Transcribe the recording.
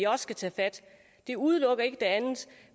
også skal tages fat det udelukker ikke det andet